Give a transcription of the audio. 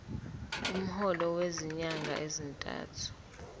umholo wezinyanga ezintathu